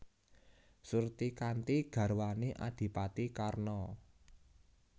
Surtikanti garwané Adhipati Karna